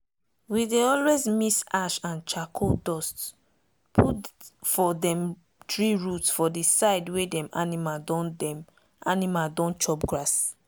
we dey always mix ash and charcoal dust put for dem tree root for the side wey dem animal don dem animal don chop grass.